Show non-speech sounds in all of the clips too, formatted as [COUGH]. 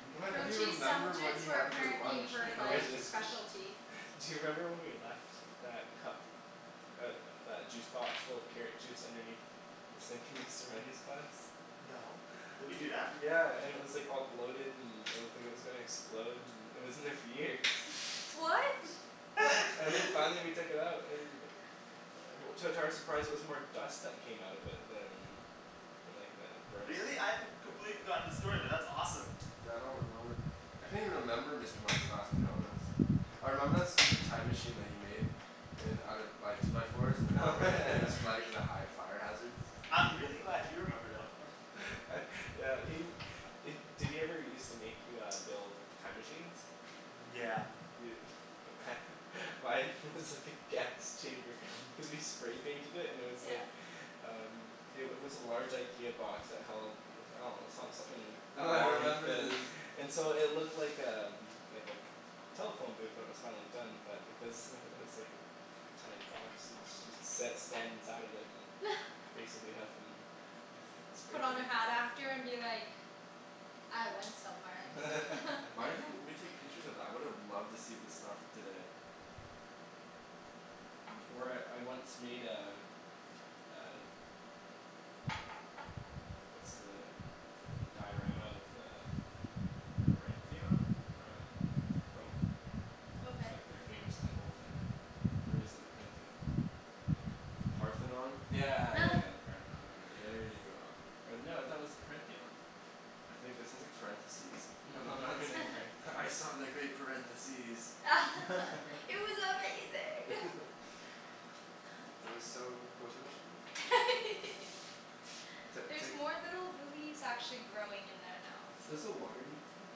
[LAUGHS] Grilled You cheese remember what sandwiches he were had for apparently lunch in her I like elementary just school. specialty. Do you remember when we left that cup, uh that juice box full of carrot juice underneath the sink in Mr. Mundy's class? No, did we do that? Yeah, and it was like all bloated and it looked like it was gonna explode and it was in there for years. What? And then [LAUGHS] finally we took it out and [NOISE] To- to our surprise it was more dust that came out of it than than like uh gross Really? I've com- completely forgotten the story, but that's awesome. Yeah I don't remember. I can't even remember Mr. Mundy's class to be honest. I remember that stupid time machine that he made. In out of by two by fours in the doorway and it was [NOISE] flagged [LAUGHS] as a high fire hazard. I'm really [LAUGHS] glad you remember though [NOISE] [LAUGHS] uh yeah he- did he ever used to make you uh build time machines? Yeah. Dude [LAUGHS] mine was just like a gas chamber cuz we spray painted it and it was like Yeah Um, it wa- was a large IKEA box that held [NOISE] I dunno, some- something Oh, I long and remember thin the [NOISE] and so it looked like um, like a telephone booth when it was finally done but because [LAUGHS] it was like this tiny box so- so you sat or stand inside of it and [NOISE] basically huffin' spray Put on a hat after paint and be like "I went somewhere" [LAUGHS] Why [LAUGHS] didn't we take pictures of that? I would've loved to see the stuff today. Or I- [NOISE] I once made a uh What's the uh diorama of the Parentheon? From Rome? Okay Like their famous temple thing. Or is it the Corinthian? One of the The two. Parthenon? Yeah yeah yeah yeah, [NOISE] the Parthenon or whatever There you it go. was. Or no, I thought it was the "Parentheon". I think that sounds like parentheses. No [LAUGHS] I'm not saying [LAUGHS] [LAUGHS] parentheses. "I saw the great parentheses." [LAUGHS] [LAUGHS] It was amazing [LAUGHS] [LAUGHS] It was so quototion-y [LAUGHS] it's li- it's There's like more little lilies actually growing in there now. Does the water need to be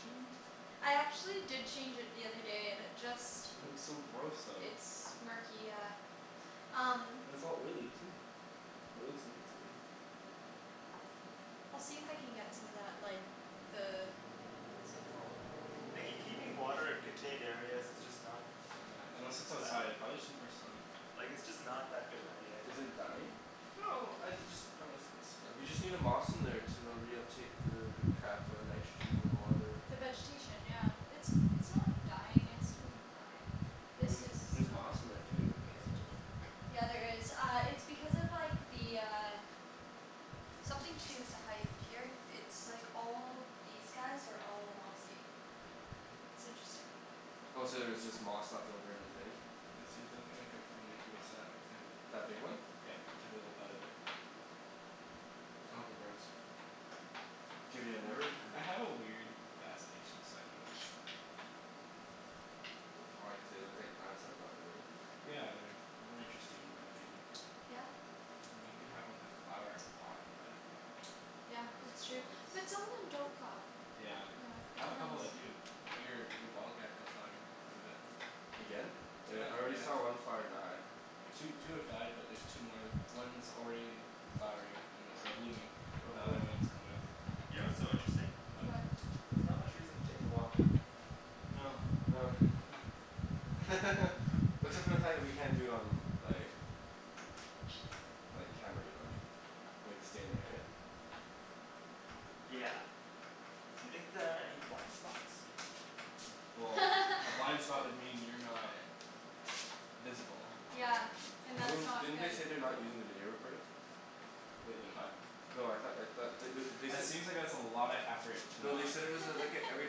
changed? I actually did change it the other day and it just It looks so gross though. It's murky, yeah. Um And it's all oily too. Or it looks like it's oily. I'll see if I can get some of that like the What is it called? Nikki keeping water in contained areas is just not Yeah, unless it's outside, [NOISE] it prolly just needs more sun. Like it's just not that good of an idea, I Is think. it dying? No, I- it just kinda looks like it's You struggling. just need a moss in there to uh reuptake the the crap uh nitrogen in the water. The vegetation yeah, it's it's not dying it's doing fine. I This mean, there's is not moss in there too, good. so Yeah, there is, uh it's because of like the uh Something to do with the height here, it's like all these guys are all mossy. It's interesting. Oh so there's just moss left over in the thing? Yeah, see that thing I took from Nikki was that right there. That big one? Yeah, I took a little bud off it. I hope it grows. Dude, yeah, I never I have a [NOISE] weird fascination with succulents. Why, cuz they look like plants but not really? Yeah, they're more interesting in my opinion. Yeah? I mean, you can have like a flower in a pot, but Yeah, Not as that's true, cool as but some of them don't flower. Yeah, Yeah, it I have a couple depends. that do. Your- your ball cacti is flowering quite a bit Again? Yeah, I already saw yeah. one flower die. Two two have died but there's two more. One's already flowering an- or blooming. Oh The cool. other one's comin' up. You know what's so interesting? What? There's not much reason to take a walk. No. No [LAUGHS] [LAUGHS] except for the fact that we can't do it on like like, camera, you know what I mean? We have to stay in the area. Yeah. You think there are any blind spots? Well, a [LAUGHS] blind spot would mean you're not visible, Yeah, and and I that's mean, not didn't they say good. they're not using the video recording? Wait, they're not? No, I thought I thought they wou- they That said seems like it's a lotta effort to No, not they said it was a like a every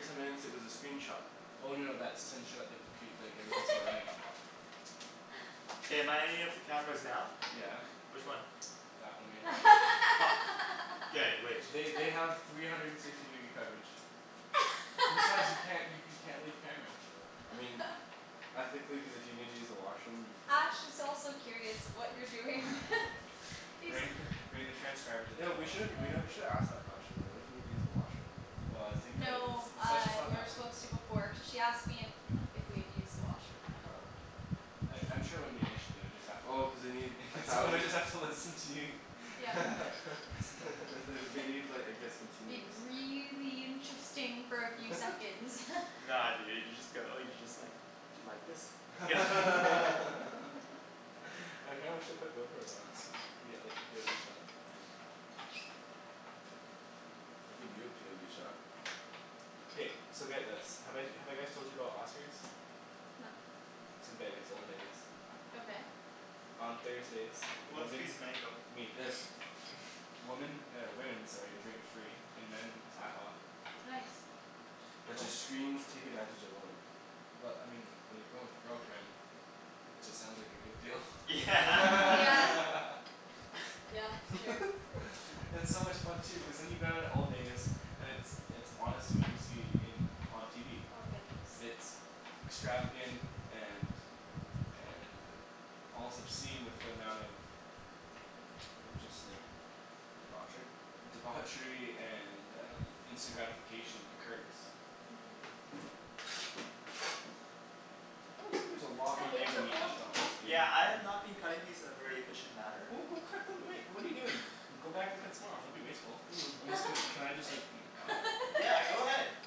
ten minutes it was a screenshot. Oh no no that's to ensure the compu- like everything's still running. [LAUGHS] K, am I on any of the cameras now? Yeah. Which one? That one right there. Fuck. K, wait. They they have three [LAUGHS] hundred and sixty degree coverage. Besides you can't you you [LAUGHS] can't leave camera. I mean ethically, cuz if you need to use the washroom you Ash can. is also curious of what you're doing [LAUGHS] [LAUGHS] Bring He's- bring the transcribers into Yo, the we should've washroom we with nev- you. we should've asked the question though. What if you need to use the washroom? Well I think that it's No, the uh session's not we were that long. supposed to before cuz she asked me if if we had used the washroom. Oh. I- I'm sure it wouldn't be an issue, they would just have to Oh cuz they need a [LAUGHS] thousand Somebody's have to listen to you Yeah [LAUGHS] [LAUGHS] they wou- they need like I guess It'd continuous be really interesting for a few [LAUGHS] seconds [LAUGHS] Nah dude, you just go like, you just like, "do you like this?" [LAUGHS] [LAUGHS] [LAUGHS] [LAUGHS] [NOISE] I kinda wish they put GoPros on us. We'd get like the POV shot. I'll give you a POV shot. K, so get this. Have I- have I guys told you about Oscar's? No. It's in Vegas, old Vegas. Okay. On Thursdays, Who wants a piece of women mango? Me. Yes. Woman, or women, sorry, drink free and men half off. Nice. That just screams take advantage of women. Well, I mean, when you're going with your girlfriend, it just sounds like a good deal [LAUGHS] Yeah Mm, yeah. [LAUGHS] [LAUGHS] [LAUGHS] Yeah, true. It's so much fun too, cuz then you get out of old Vegas. And it's it's honestly what you see in on TV. Oh I'm good, thanks. It's extravagant and and, almost obscene with the amount of of just like Debauchery? Debauchery and instant gratification occurs. [NOISE] That looks like there's a lot I more think mango the meat old left on those, dude. Yeah, I have not been cutting these in a very efficient manner. Well, go cut them, I mean, what are you doing? Go back and cut some more off, don't be wasteful. Almost can, [NOISE] can I [LAUGHS] just gnaw? Yeah, go ahead. [LAUGHS]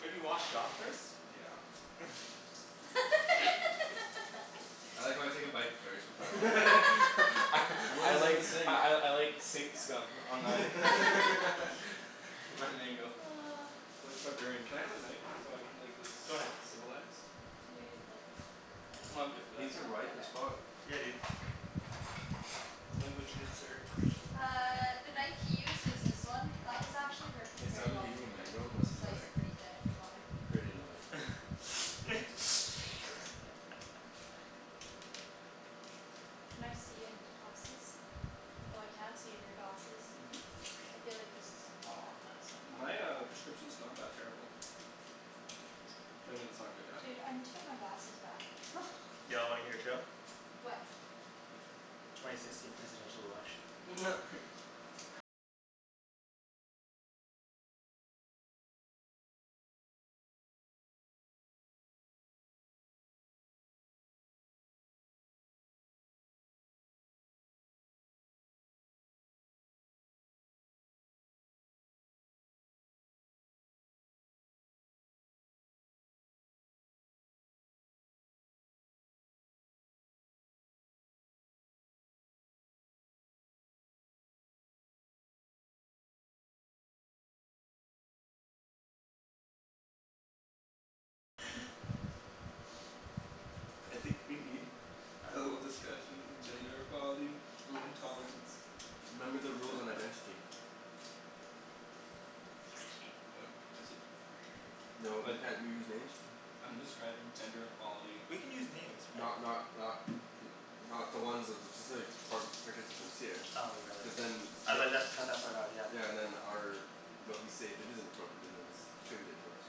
Maybe wash it off first. Yeah [LAUGHS] [LAUGHS] I like how I take a bite first before I [LAUGHS] wash it. I [LAUGHS] What I was in like the [LAUGHS] sink? I I I like sink scum on my [LAUGHS] [LAUGHS] [LAUGHS] [LAUGHS] my mango [NOISE] like a barbarian. Can I have a knife? So I can like look Go ahead. civilized? You didn't like I dunno. I'm good for that. These are No? ripe Okay as fuck. Yeah dude. Language, good sir. Uh the knife [NOISE] he used was this one. That was actually working The pretty sound of well for eating a me, you mango can must be slice like, it pretty thin if you want to pretty annoying. [NOISE] [LAUGHS] Can I see in your glasses? Oh I can't see in your glasses. I feel like this [NOISE] is gonna fall off or My uh [INAUDIBLE] prescription's not that terrible. I mean it's not good either. Dude, I need to get my glasses back [LAUGHS] Y'all wanna hear a joke? What? Twenty sixteen presidential election. [LAUGHS] I think we need [NOISE] a little discussion in gender equality [NOISE] and tolerance. Remember the rules on identity. [NOISE] What? Just said No, you But can't use names. [NOISE] I'm describing gender equality. We can use names, right? Not not not n- not the ones of the specific par- participants here. Oh, you're right Cuz ye- then otherwise they'll have to cut that part out, yeah. Yeah, and then our but we say if it isn't appropriate it isn't attributed to us.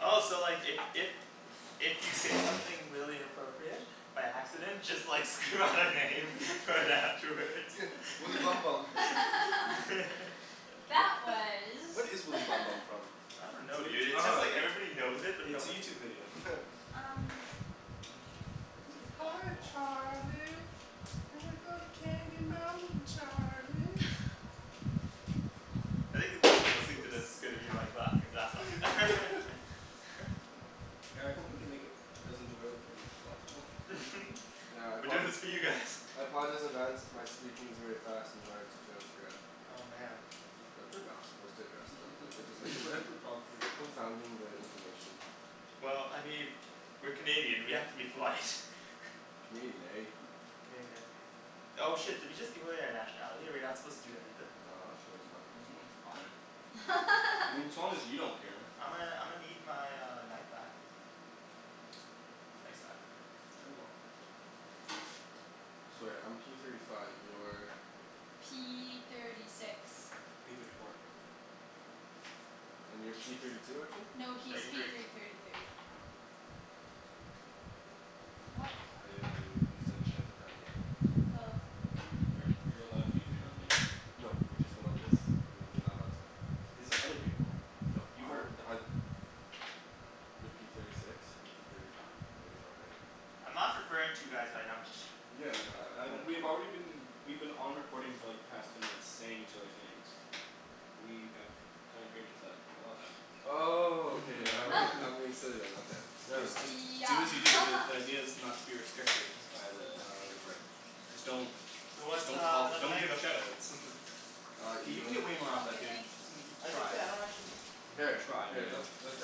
Oh so like if if If you say something really inappropriate by accident just like scream out a name right afterwards [LAUGHS] Woody Bum Bum [LAUGHS] [LAUGHS] Wha- That was what is Woody [LAUGHS] Bum Bum from? I don't know dude, it's just like everybody knows it But but no it's a one YouTube video. [LAUGHS] Um Hi Charlie, we go to Candy Mountain Charlie. I think the person listening to Oops this is gonna be like laughing his ass off [LAUGHS] [LAUGHS] Yeah, I hope we can make it as enjoyable for them as possible. [LAUGHS] Yeah, I We're apo- doing this for you guys. I apologize in advance if my speaking is very fast and hard to transcribe. Oh man What if we're not supposed to address them? What if we're just thinking [LAUGHS] confounding the information. Well, I mean, we're Canadian, we have to be polite. Canadian, eh? Canadian, eh? Oh shit, did we just give away our nationality? Are we not supposed to do that either? No, I'm sure it's fine. [NOISE] It's fine. I mean as [LAUGHS] long as you don't care. I'ma I'ma need my uh knife back. Thanks bud. You're welcome. So right, I'm P thirty five, you're P thirty six P thirty four And you're P thirty two, Arjan? No, he's Thirty Arjan? P three thirty thirty three. What? I I used that to identify your name. Oh. We're you're allowed to use your own name. No, we just went over this. You- you're not allowed to. They said other people. No You were our [NOISE] You're P thirty six, I'm P thirty five. There you go right? I'm not referring to you guys by numbers. Yeah like I I uh we've already been we've been on recording for like the past ten minutes saying each others' names. We have signed agreements that allow that. Oh, okay all [LAUGHS] right, [LAUGHS] I'm being remember? silly then, okay. Never Just mind. just do Yeah as you do because the [LAUGHS] idea is not to be restricted by the recording. Just don't Who wants Don't uh call, another don't give mango? shout outs. K, you can [INAUDIBLE] get No way more off I'm that, good, dude. thanks. That's Try. okay, I don't actually need Here, Try let man let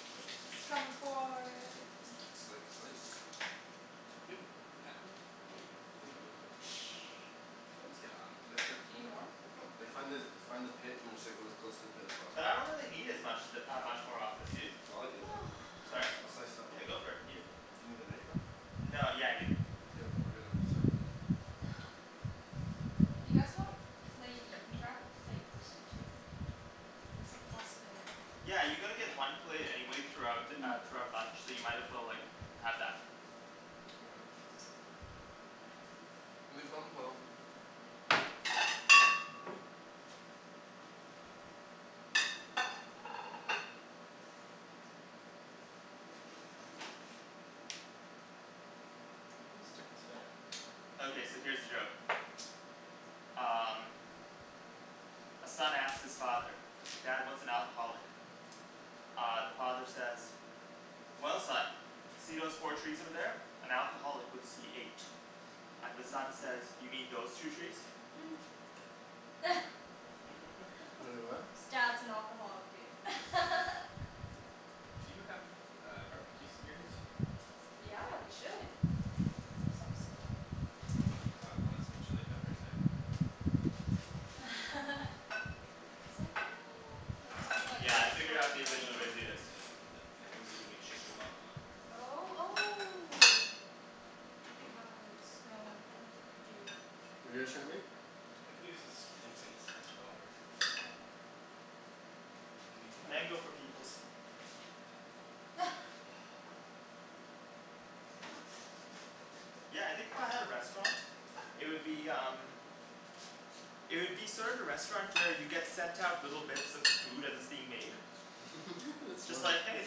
[INAUDIBLE] It's comin' for Sli- slice? [NOISE] It's like Do something you need like more? Like find the find the pit and just go as close to the pit as possible. But I don't really need as much of it uh much more of this, dude. Well I'll eat it then. I'll Sorry? [NOISE] jus- I'll slice Yeah, go for it, eat [INAUDIBLE] it. Do you need the knife though? No, yeah I do. Do you have a- I'll get a second knife. [NOISE] You guys want a plate, you can grab a plate, too. Like it's a possibility. Yeah, you're gonna get one plate anyway throughout uh throughout bunch, so you might as well like have that. All right. Woody Bum Bum Okay, so here's a joke [NOISE] Um A son asks his father, "Dad, what's an alcoholic?" Uh the father says "Well son, see those four trees over there? An alcoholic would see eight." And the son says "You mean those two trees?" [NOISE] [LAUGHS] Wai- , [LAUGHS] what? Dad's an alcoholic dude [LAUGHS] Do you have uh barbecue skewers? Yeah, we should Of some sort Got lots of chili peppers eh? [LAUGHS] It's like no, like something like Yeah, I this? figured out the Or like No efficient no way to do this. like like like the things that you make shish kebabs on Oh, oh Do we have this? No, I don't think we do. What're you guys trying to make? I can use this incense stick, that'll work. Okay. And then you can light it. Mango for peoples. [NOISE] Yeah, I think if I had a restaurant, it would be um It would be sort of the restaurant where you get sent out little bits of the food as it's being made [LAUGHS] That's It's smart like "Hey,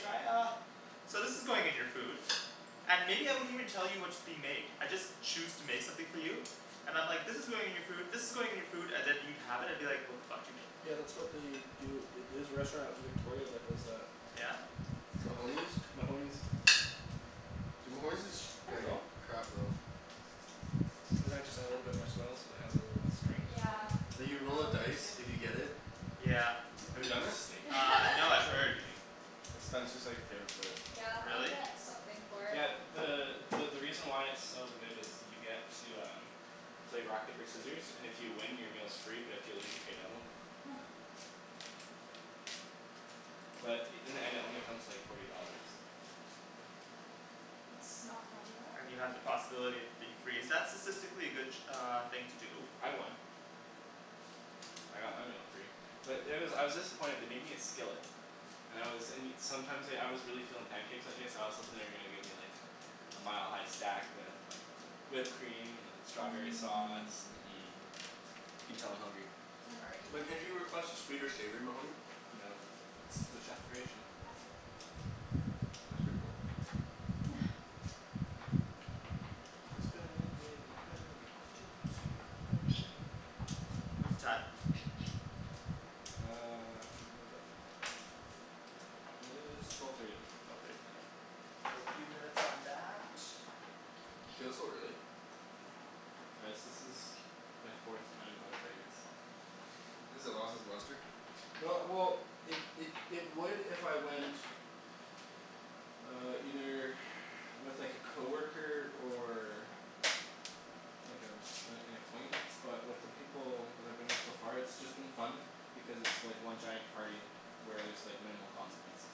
try uh" "So this is going in your food" And maybe I wouldn't even tell you what's being made. I'd just choose to make something for you. And I'm like "this is going in your food, this is going in your food" and then you'd have it and be like "what the fuck did you make?" Yeah that's what they do at the- there's a restaurant in Victoria that does that. Mahoney's? Mahoney's Dude, Mahoney's is sh- There you like go. Perfect. crap though. And then I just I add little bit more swell so it has a little strength [NOISE] Yeah, Like you roll a oh me dice if too. you get it. Yeah. Have you It's done just a it? steak knife. Uh no I've That's where we'll heard be [LAUGHS] eating. It's Spencer's like favorite place. Yeah, I'll Really? get something for it. Yeah, the the the reason why it's so good is you get to um play rock paper scissors and if you win your meal's free but if you lose you pay double. [NOISE] But in the end it only comes to like forty dollars. It's not bad at all. And you have the possibility of it being free, is that statistically a good uh thing to do? I won. I got my meal free. But there was, I was disappointed, they made me a skillet. And I was and you, sometimes like, I was really feelin' pancakes that day so I was hopin' they were gonna give me like a a mile-high stack with like the whipped cream and the strawberry sauce, Mmm mm You can tell I'm hungry. I'm already Like can't you hungry. request a sweet or savory Mahoney? No, it's the chef creation. That's pretty cool. [NOISE] [LAUGHS] [NOISE] Burn baby burn disco inferno What's the time? Uh [NOISE] It is twelve thirty. Another few minutes on that. It feels so early. Guys this is my fourth time going to Vegas. Has it lost its luster? No well it it it would if I went Uh either with like a coworker or like an an an acquaintance but with the people that I've been with so far it's been just fun because it's just like one giant party where there's like minimal consequences.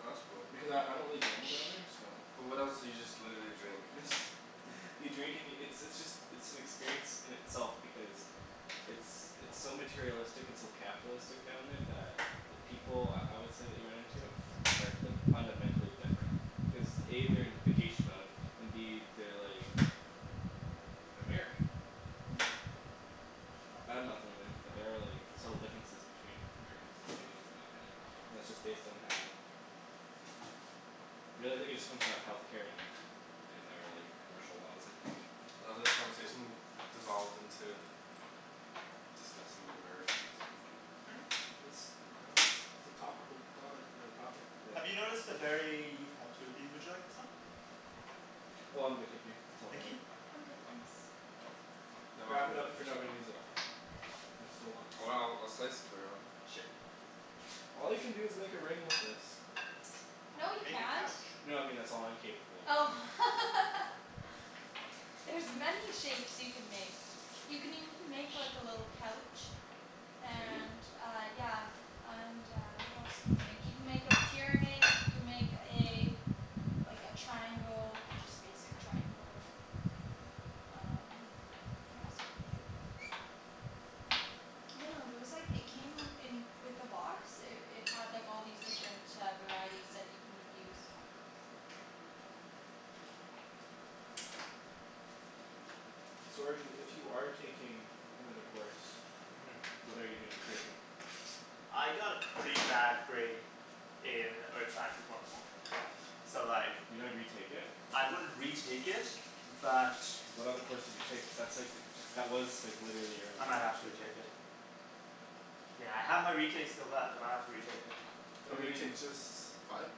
Oh that's cool. Because I I don't really gamble down there so But what else, so you just literally drink? [LAUGHS] You drink and yo- it's it's just it's an experience in itself because it's it's so materialistic and so capitalistic down there that the people I would say that you run into are like fundamentally different cuz A they're in vacation mode and B they're like American. [NOISE] [NOISE] Not badmouthing or anything but there are like subtle differences between Americans and Canadians in my opinion and that's just based on how really I think it just comes down to healthcare and our like commercial laws I think. I love how this conversation devolved into discussing the Americans. Hmm? [NOISE] I dunno it's a topical comment on a topic that Have you noticed a very, you've had two of these, would you like this one? Oh I'm good, thank you, it's all Nikki? dandy. I'm good, thanks. Okay. No Wrap it up if you're not gonna use it. [INAUDIBLE] There's still lots. Oh I'll I'll slice it for you. Sure. All you can do is make a ring with this. No you Make a can't. couch. No I mean that's all I'm capable of Oh [LAUGHS] doing. There's many shapes you can make. You can even make like a little couch. Can you? And uh, yeah And uh what else can you make, you can make a pyramid you can make a Like a triangle, just basic triangle. Um what else can you do? I dunno, there was like, it came in with the box, it it had like all these different uh varieties that you can use. So Arjan if you are taking another course Mm What are you gonna be taking? I got a pretty bad grade in earth sciences one oh four, so like You're gonna retake it? I wouldn't retake it but What other courses you take? Cuz that's like, that was like literally your I only might have to option. retake it. Yeah I have my retakes still left, I might have to retake it. What How do many you mean? retakes? Just Five?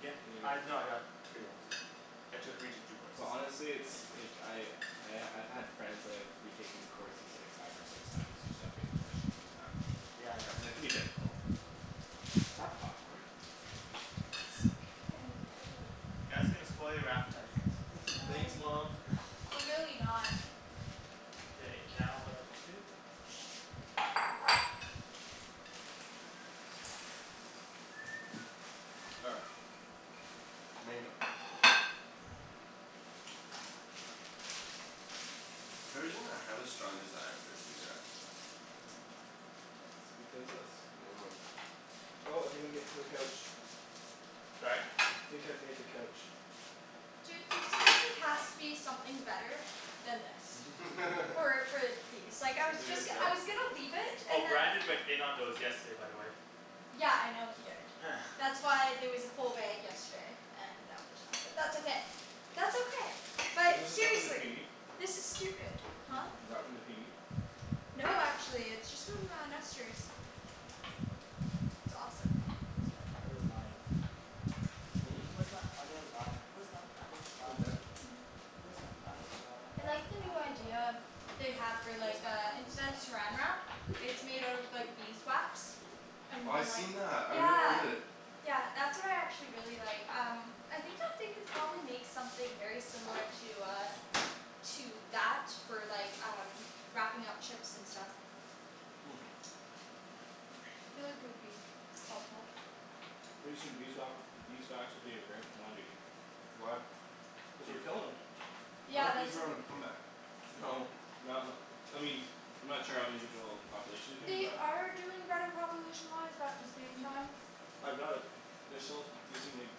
Yeah, I, no I got three left, I took retook two courses. Well honestly it's like, I I I've had friends that have retaken courses like five or six times you just have to get permission from the faculty Yeah, I know. and it can be difficult. Is that popcorn? In the bowl You guys are gonna spoil your appetite. [LAUGHS] Thanks No. mom. [NOISE] We're really not [NOISE] K, now what do I need to do? All right. Mango For some reason I have a strong desire for a cigarette. Because this I dunno. Oh I think I'm getting to the couch. Sorry? I think I've made the couch. Dude there seriously has to be something better than this. [INAUDIBLE] So [LAUGHS] like I was Is it just I was gonna leave it Oh, and then [INAUDIBLE] Brandon went in on those yesterday by the way. Yeah I know he did, that's why there was a full bag yesterday and now there's not, but that's okay, that's okay, Is but this the stuff from the seriously, PNE? this is stupid. [NOISE] Huh? Is that from the PNE? No, actually, it's just from uh Nester's. It's awesome. Where's my other lime? Hm? Where's my other lime? Where's my other lime? Where's my other lime? I That's like an the new apple idea lime. they have for Where's like my uh other instead of lime? saran Where's my wrap other it's made out of lime? like beeswax. And Oh I've like, seen that, I really yeah. wanted it. Yeah that's what I actually really like um I think that they could probably make something very similar to uh To that for like um wrapping up chips and stuff. [NOISE] I feel like it would be helpful. Pretty soon beeswa- beeswax will be a rare commodity. Why? Cuz we're killin' 'em. I Yeah thought that's bees were on a a comeback. No, not n- I mean, I'm not sure how individual populations are doing They but are doing better population wise but at the same time I doubt it, they're still using like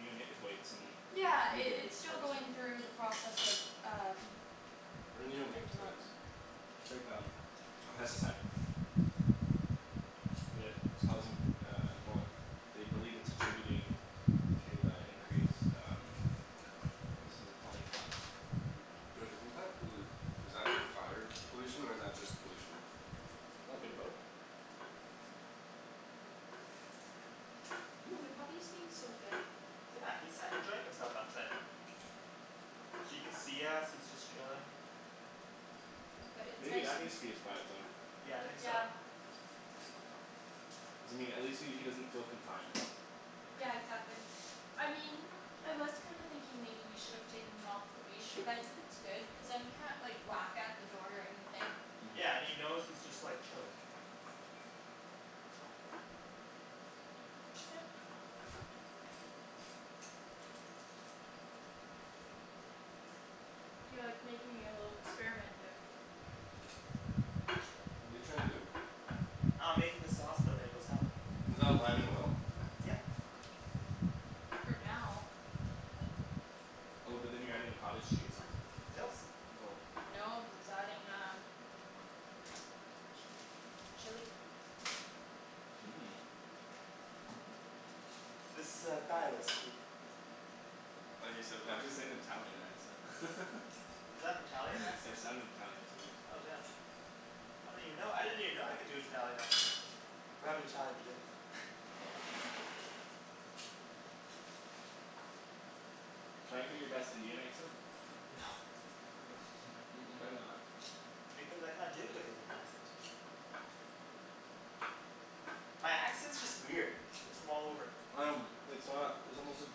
neonicotoids in Yeah, it blueberry it's still harvesting. going through the process of um What are like neonicotoids? development. It's like um, God pesticide But it it's causing um well they believe it's attributing to the increased um instances of colony collapse. Yo do you think that pollu- is that fire pollution or is that just pollution? Oh a bit of both. The [NOISE] puppy's being so good. Yeah, he's sat enjoying himself outside. He can see us, he's just chilling. But it's Maybe nice. that needs to be his quiet zone. Yeah, I think so. Yeah. Doesn't mean at least he he doesn't feel confined. Yeah exactly, I mean I was kind of thinking maybe we should have taken him off the leash but I think it's good cuz then he can't like whack at the door or anything. Mhm Yeah, and he knows he's just like chilling. Yeah. You're like making a little experiment there. What're you trying to do? Uh I'm making the sauce for the mango salad. Is that lime and oil? Yep. For now Oh but then you're adding the cottage cheese? Nope. Oh No, he's adding um Chili Mmm This is a Thai recipe. I love how you say it with the Why'd you say accent. it in an Italian accent? [LAUGHS] Is that an Italian [LAUGHS] accent? It sounded Italian to me. Oh damn. I don't even know, I didn't even know I could do an Italian accent. We're having Thai for dinner though. Can I hear your best Indian accent? No. [LAUGHS] [LAUGHS] why not? Because I can't do a good Indian accent. My accent's just weird, it's from all over. Um it's not, it's almost like